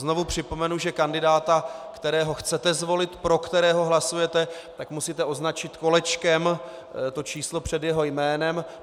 Znovu připomenu, že kandidáta, kterého chcete zvolit, pro kterého hlasujete, tak musíte označit kolečkem to číslo před jeho jménem.